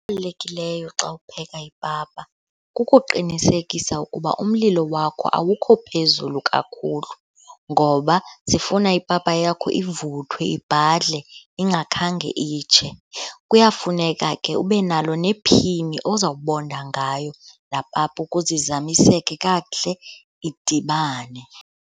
Xa upheka ipapa kukuqinisekisa ukuba umlilo wakho awukho phezulu kakhulu ngoba sifuna ipapa yakho ivuthwe, ibhadle, ingakhange itshe. Kuyafuneka ke ubenalo nephini ozawubonda ngayo laa papa ukuze izamiseke kakuhle idibane.